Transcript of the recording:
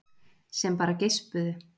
Sem bara geispuðu.